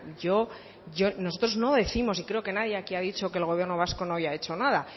nosotros no décimos y creo que aquí nadie ha dicho que el gobierno vasco no haya hecho nada